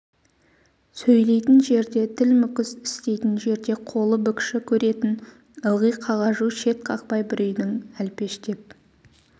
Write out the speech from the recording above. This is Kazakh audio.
сөйлейтін жерде тіл мүкіс істейтін жерде қолы бүкші көретін ылғи қағажу шет қақпай бір үйдің әлпештеп